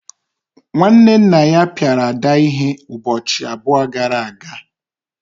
nwanne nna ya piara Ada ihe ụbọchị abụọ gara aga.